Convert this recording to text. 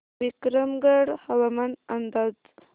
विक्रमगड हवामान अंदाज